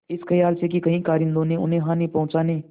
इस खयाल से कि कहीं कारिंदों ने उन्हें हानि पहुँचाने